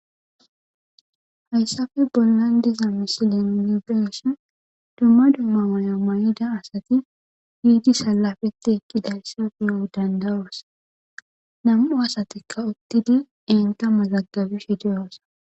Hayssafe bollan diza misilin niubeshin dumma dumma maya may'ida asati giidi salafetti ekkidayssafeyo dandayoos nam'u asatikka uttidi enta ma zaggabishe diyoosa